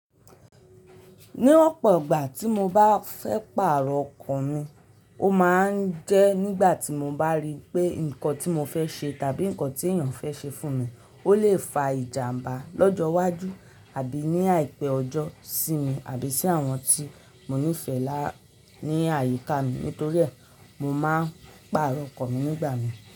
Ní ọ̀pọ̀ ìgbà tí mo bá fẹ́ pààrọ̀ ọkọ mi, ó máa ń jẹ́ nígbà tí mo bá rí pé nǹkan tí mo fẹ́ ṣe tàbí nǹkan tí èèyàn fẹ́ ṣe fún mi, ó lè fa ìjàmbá lọ́jọ́ iwájú àbí ní àìpé ọjọ́ sí mi àbí sí àwọn tí mo nífẹ̀ẹ́ lá ní àyíká mi nítorí ẹ, mo máa ń pààrọ̀ ọkọ mi nígbà mi.